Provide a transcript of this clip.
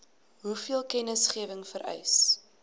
hoeveel kennisgewing vereis